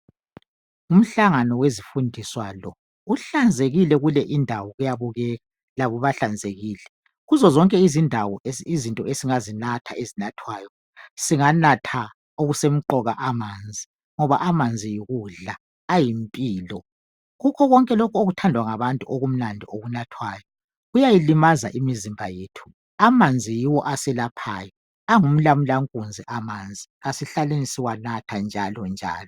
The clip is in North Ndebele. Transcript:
Umhlangano wezifundiswa lo kuhlanzekile kule indawo kuyabukeka labo bahlanzekilezinto kuzo zonke izindawo izinto esingazinatha ezinathwayo singanatha okusemqoka amanzi ngoba amanzi ayikudla ayimpilo kukhona konke lokhu okuthandwa ngabantu okunathwayo kuyayilimaza imizimba yethu amanzi yiyo aselaphayo angumlamulankunzi amanzi asihlaleni siwanatha njalonjalo